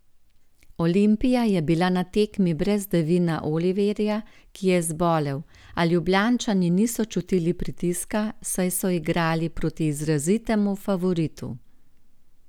Olimpija je bila na tekmi brez Devina Oliverja, ki je zbolel, a Ljubljančani niso čutili pritiska, saj so igrali proti izrazitemu favoritu.